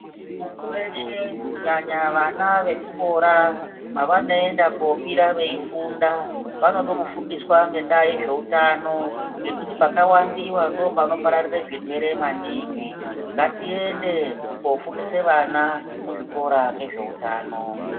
Munthu weshe kunyanya vana vezvikora mavanoenda kobira veifunda vanoda kufundiswa ngendaa yezveutano nekuti pakawandiwa ndopanopararira zvirwere maningi ngatiende kofundise vana muzvikora ngezveutano.